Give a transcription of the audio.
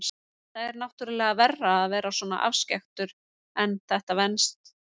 Það er náttúrlega verra að vera svona afskekktur en þetta venst.